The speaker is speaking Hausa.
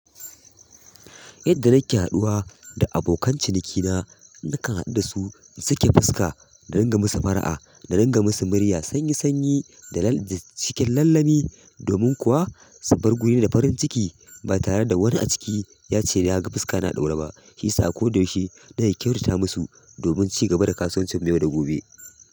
Yadda nake haɗuwa da abokan cinikina, nakan haɗu da su in sake fuska, da ringa musu fara'a, da ringa musu murya sanyi sanyi da cikin lallemi, domin kuwa su bar gurina da farin ciki ba tare da wani a ciki ya ce ya ga fuska na a ɗaure ba. Shi sa ko da yaushe na ke kyautata musu domin ci gaba da kasuwancin mu yau da gobe.